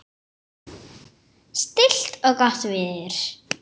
Stillt og gott veður.